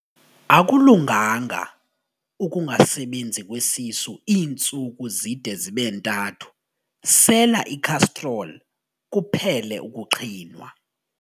Akulunganga ukungasebenzi kwesisu iintsuku zide zibe ntathu, sela ikhastroli kuphele ukuqhinwa.